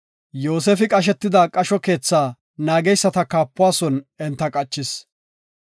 Yoosefi qashetida, qasho keetha naageysata kaapuwa son enta qachis.